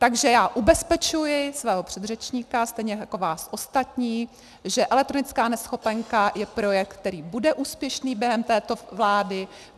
Takže já ubezpečuji svého předřečníka stejně jako vás ostatní, že elektronická neschopenka je projekt, který bude úspěšný během této vlády.